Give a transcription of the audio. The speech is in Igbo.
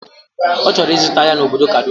Ọchọrọ ije zụta ahia na obodo Kaduna